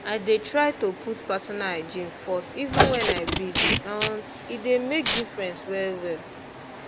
i dey try to put personal hygiene first even when i busy um e dey make difference well well